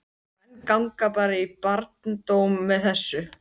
Og menn ganga bara í barndóm með þessu?